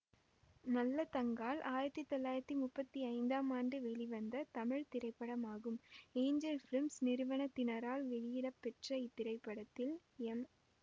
நல்லதங்காள் ஆயிரத்தி தொள்ளாயிரத்தி முப்பத்தி ஐந்தாம் ஆண்டு வெளிவந்த தமிழ் திரைப்படமாகும் ஏஞ்சல் பிலிம்ஸ் நிறுவனத்தினரால் வெளியிடப்பெற்ற இத்திரைப்படத்தில் எம்